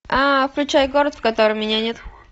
а включай город в котором меня нет